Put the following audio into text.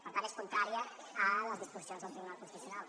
per tant és contrari a les disposicions del tribunal constitucional